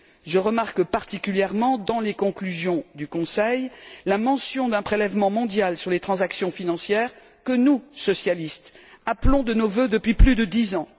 Je remarque en particulier, dans les conclusions du Conseil, la mention d'un prélèvement mondial sur les transactions financières que nous, socialistes, appelons de nos vœux depuis plus de dix ans.